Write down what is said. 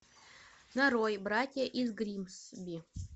нарой братья из гримсби